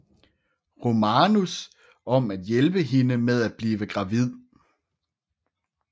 Romanus om at hjælpe hende med at blive gravid